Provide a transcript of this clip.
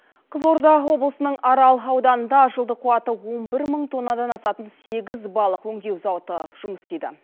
қызылорда облысының арал ауданында жылдық қуаты он бір мың тоннадан асатын сегіз балық өңдеу зауыты жұмыс істейді